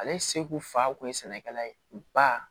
Ale seko fa kun ye sɛnɛkɛla ye u ba